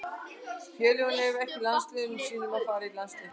Félögin leyfa ekki landsliðsmönnum sínum að fara í landsleiki.